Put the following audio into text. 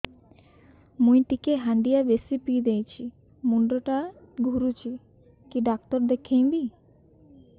ମୁଇ ଟିକେ ହାଣ୍ଡିଆ ବେଶି ପିଇ ଦେଇଛି ମୁଣ୍ଡ ଟା ଘୁରୁଚି କି ଡାକ୍ତର ଦେଖେଇମି